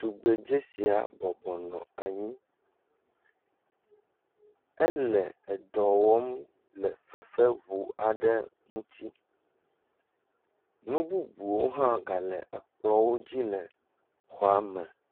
Tugbedze sia bɔbɔ nɔ anyi. Ele dɔ wɔm le fefeŋu aɖe ŋuti. Nu bubuwo hã gale ekplɔ̃wodzi le xɔa me.